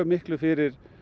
miklu fyrir